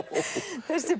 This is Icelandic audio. þessi